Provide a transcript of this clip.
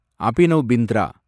Abhinav Bindra